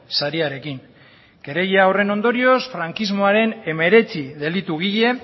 sariarekin kereila horren ondorioz frankismoaren hemeretzi delitugile